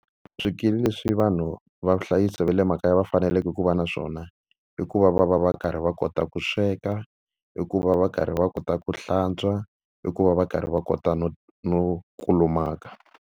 Swikili leswi vanhu va ku hlayisa va le makaya va faneleke ku va na swona, i ku va va va va karhi va kota ku sweka, i ku va va va karhi va kota ku hlantswa, i ku va va va karhi va kota no no kulumaka.